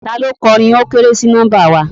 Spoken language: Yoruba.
Taló kọ orin "wọ́n kéré sí nọ́mbà wa"?